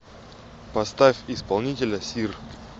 поставь исполнителя сир